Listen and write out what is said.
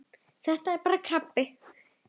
Þetta er bara þessi krabbi.